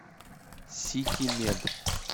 ситимед